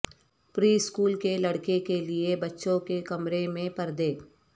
پری school کے لڑکے کے لئے بچوں کے کمرے میں پردے